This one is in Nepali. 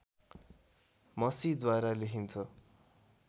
मसीद्वारा लेखिन्छ